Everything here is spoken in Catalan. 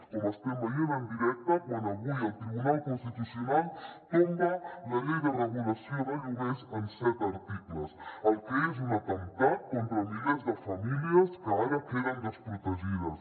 com estem veient en directe quan avui el tribunal constitucional tom·ba la llei de regulació de lloguers en set articles el que és un atemptat contra milers de famílies que ara queden desprotegides